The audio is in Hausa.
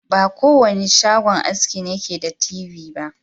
Ba ko wanda shagon aski ne ke da telebijin ba.